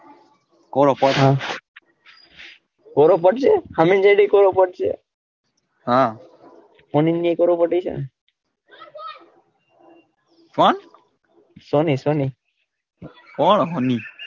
કોરો પટ્ટ હા કોરો પટ્ટ જેવો હામે કોરો પટ્ટ છે હા કોણ સોની સોની કોણ હોની,